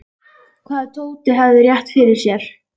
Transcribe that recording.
Hvað ef Tóti hefði rétt fyrir sér?